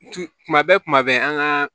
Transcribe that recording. Tumu tuma bɛɛ kuma bɛɛ an ka